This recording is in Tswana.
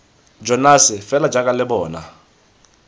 jonase fela jaaka lo bona